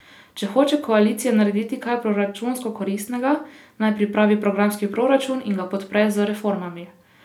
Če hoče koalicija narediti kaj proračunsko koristnega, naj pripravi programski proračun in ga podpre z reformami.